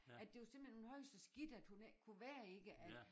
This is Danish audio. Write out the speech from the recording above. At det var simpelthen hun havde det så skidt at hun ikke kunne være i det at